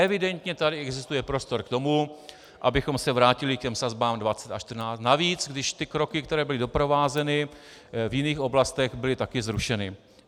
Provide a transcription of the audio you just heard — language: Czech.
Evidentně tady existuje prostor k tomu, abychom se vrátili k těm sazbám 20 a 14, navíc když ty kroky, které byly doprovázeny v jiných oblastech, byly taky zrušeny.